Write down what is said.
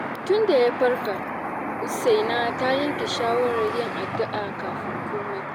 Tunda ya farka, Usaina ta yanke shawarar yin addu’a kafin komai.